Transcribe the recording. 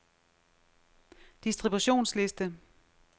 distributionsliste